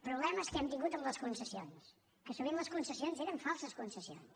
problemes que hem tingut amb les concessions que sovint les concessions eren falses concessions